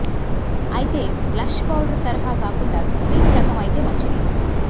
అయితే blush powder తరహా కాకుండా క్రీం రకం అయితే మంచిది